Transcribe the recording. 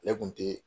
Ale kun te